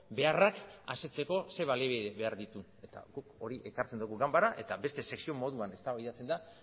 beharrak ze baliabide behar dituen eta guk hori ekartzen dugu ganbarara eta beste sesio moduan eztabaidatzen da